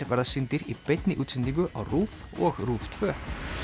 verða sýndir í beinni útsendingu á RÚV og RÚV tvö nú